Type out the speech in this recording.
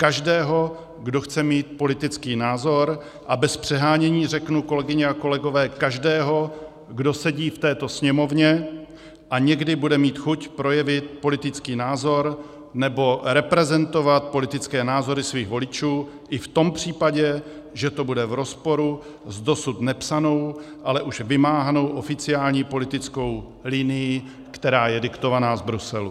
Každého, kdo chce mít politický názor, a bez přehánění řeknu, kolegyně a kolegové, každého, kdo sedí v této Sněmovně a někdy bude mít chuť projevit politický názor nebo reprezentovat politické názory svých voličů i v tom případě, že to bude v rozporu s dosud nepsanou, ale už vymáhanou oficiální politickou linií, která je diktovaná z Bruselu.